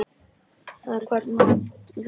Þarna við vatnið.